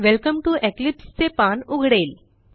welcome T O Eclipse चे पान उघडेल